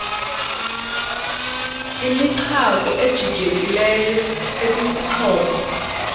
imichako ejijekileyo ekwisixhobo